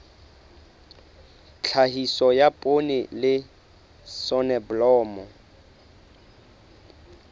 tlhahiso ya poone le soneblomo